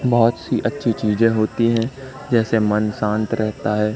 बहुत सी अच्छी चीजें होती हैं जैसे मन शांत रहता है।